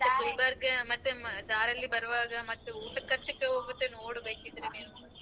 ಗುಲ್ಬರ್ಗ ಮತ್ತೆ ದಾರಲ್ಲಿ ಬರುವಾಗ ಮತ್ತೆ ಊಟದ್ ಖರ್ಚಿಗೆ ಹೋಗುತ್ತೆ ನೋಡು ಬೇಕಿದ್ರೆ ನೀನು.